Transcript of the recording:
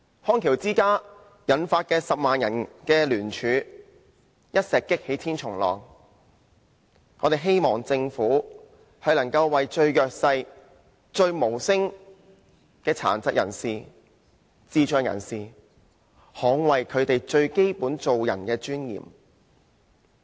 康橋之家引發10萬人聯署，一石擊起千重浪，我們希望政府能為最弱勢、無聲的殘疾人士、智障人士，捍衞他們最基本做人的尊嚴。